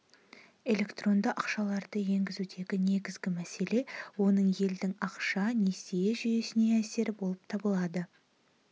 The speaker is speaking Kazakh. электронды ақшаларды енгізудегі негізгі мәселе оның елдің ақша-несие жүйесіне әсері болып табылады